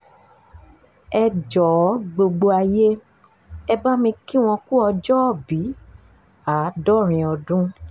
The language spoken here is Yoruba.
ẹ jọ̀ọ́ gbogbo ayé ẹ bá mi kí wọ́n ku ọjọ́òbí àádọ́rin ọdún